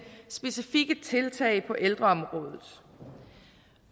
specifikke tiltag på ældreområdet